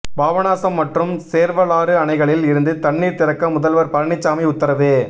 பாபநாசம் மற்றும் சேர்வலாறு அணைகளில் இருந்து தண்ணீர் திறக்க முதல்வர் பழனிசாமி உத்தரவு